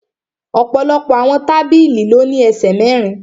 Ọ̀pọ̀lọpọ̀ àwọn tábìlì ló ní ẹsẹ̀ mẹ́rin